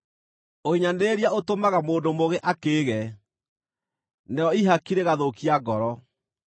Ũhinyanĩrĩria ũtũmaga mũndũ mũũgĩ akĩĩge, narĩo ihaki rĩgathũkia ngoro.